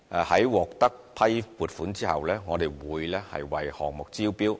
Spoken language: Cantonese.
在獲批撥款後，我們會為項目招標。